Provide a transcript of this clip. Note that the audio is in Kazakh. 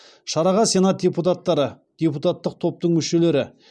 шараға сенат депутаттары депутаттық топтың мүшелері